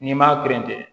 N'i m'a keren ten